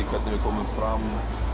hvernig við komum fram